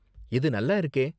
இது நல்லா இருக்கே!